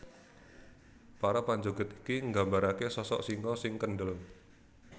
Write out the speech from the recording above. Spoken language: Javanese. Para panjogèd iki nggambaraké sosok singa sing kendel